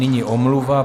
Nyní omluva.